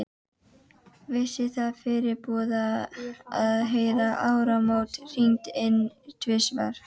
Vissi það fyrirboða, að heyra áramót hringd inn tvisvar.